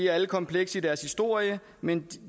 alle komplekse i deres historie men